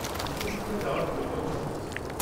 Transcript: উচ্চ শিক্ষায় যাওয়ার পরিকল্পনা করছি।